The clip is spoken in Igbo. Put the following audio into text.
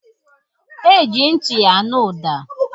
E ji ntị anụ ụda.